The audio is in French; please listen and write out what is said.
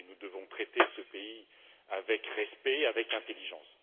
Nous devons traiter ce pays avec respect et intelligence.